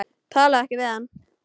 Talaðu ekki við hann.